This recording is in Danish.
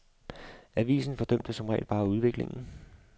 Avisen fordømte som regel bare udviklingen.